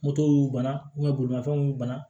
Moto y'u bana bolimafɛnw bana